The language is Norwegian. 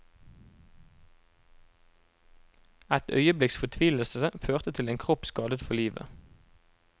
Et øyeblikks fortvilelse førte til en kropp skadet for livet.